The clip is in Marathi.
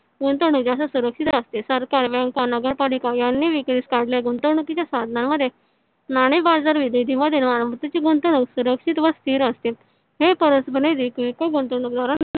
गुंतवणुक जास्त सुरक्षित असते. सरकार bank नगरपालिका यांनी विक्रीस काढल्या गुंतवणुकीच्या साधनांमध्ये नाणे बाजार गुंतवणुक सुरक्षित व स्थिर असते हे परस्पर निधी किरकोळ गुंतवणुकद्वारा